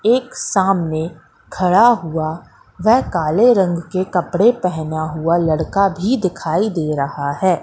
एक सामने खड़ा हुआ वेह काले रंग के कपड़े पहना हुआ लड़का भी दिखाई दे रहा है।